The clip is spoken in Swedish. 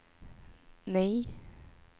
nej